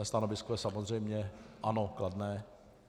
Mé stanovisko je samozřejmě ano, kladné.